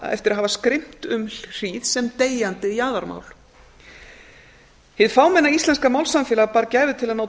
að hafa skrimt um hríð sem deyjandi jaðarmál hið fámenna íslenska málsamfélag bar gæfu til að ná